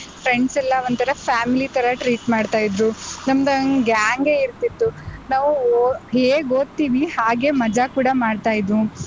Friends ಎಲ್ಲಾ ಒಂಥರಾ family ತರ treat ಮಾಡ್ತಾ ಇದ್ರು. ನಮ್ದೊಂದ್ gang ಗೆ ಇರ್ತಿತ್ತು. ನಾವು ಓ~ ಹೇಗ್ ಒದ್ತೀವಿ ಹಾಗೆ ಮಜಾ ಕೂಡ ಮಾಡ್ತಾ ಇದ್ವು.